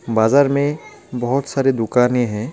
बाजार में बहुत सारे दुकानें हैं।